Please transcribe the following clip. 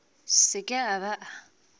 se ke a ba a